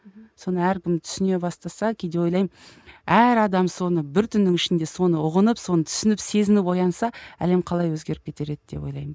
мхм соны әркім түсіне бастаса кейде ойлаймын әр адам соны бір түннің ішінде соны ұғынып соны түсініп сезініп оянса әлем қалай өзгеріп кетер еді деп ойлаймын